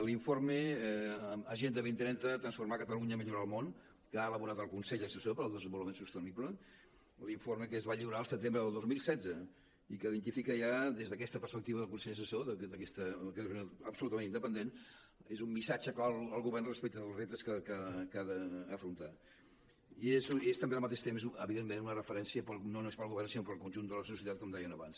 l’informe agenda dos mil trenta transformar catalunya millorar el món que ha elaborat el consell assessor per al desenvolupament sostenible l’informe que es va lliurar al setembre del dos mil setze i que el que s’identifica ja des d’aquesta perspectiva del consell assessor absolutament independent és un missatge clar al govern respecte dels reptes que ha d’afrontar i és també al mateix temps evidentment una referència no només per al govern sinó per al conjunt de la societat com deien abans